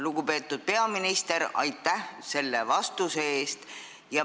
Lugupeetud peaminister, aitäh selle vastuse eest!